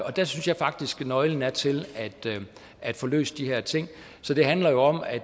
og dér synes jeg faktisk nøglen er til at få løst de her ting så det handler jo om at